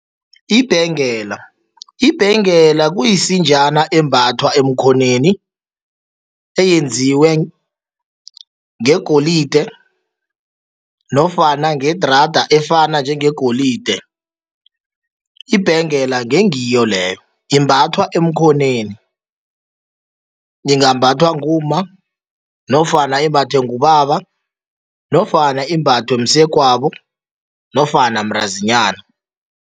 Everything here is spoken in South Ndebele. Ibhengela, ibhengela kuyisinjana embathwa emkhonweni, eyenziwe ngegolide nofana ngedrada efana njengegolide, ibhengela ngengiyo leyo. Imbathwa emkhonweni, ingambhathwa ngumma nofana imbathwe ngubaba nofana imbathwe msegwabo nofana mntazinyana.